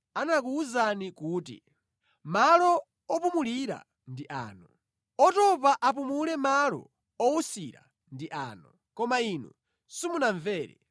anakuwuzani kuti, “Malo opumulira ndi ano, otopa apumule, malo owusira ndi ano.” Koma inu simunamvere.